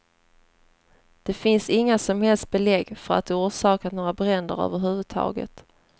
Det finns inga som helst belägg för att det orsakat några bränder över huvud taget.